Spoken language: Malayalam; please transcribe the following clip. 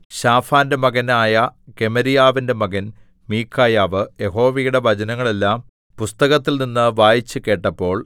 ശാഫാന്റെ മകനായ ഗെമര്യാവിന്റെ മകൻ മീഖായാവ് യഹോവയുടെ വചനങ്ങളെല്ലാം പുസ്തകത്തിൽനിന്ന് വായിച്ചു കേട്ടപ്പോൾ